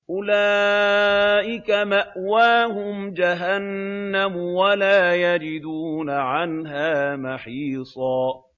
أُولَٰئِكَ مَأْوَاهُمْ جَهَنَّمُ وَلَا يَجِدُونَ عَنْهَا مَحِيصًا